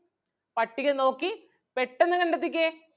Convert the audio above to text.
പട്ടിക നോക്കി പെട്ടെന്ന് കണ്ടെത്തിക്കേ.